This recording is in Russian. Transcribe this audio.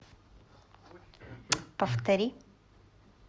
повтори